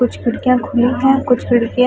कुछ खिड़कियाँ खुली हैं कुछ खिड़कियाँ --